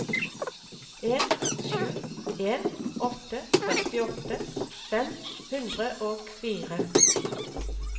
en sju en åtte førtiåtte fem hundre og fire